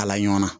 Kala ɲɔn na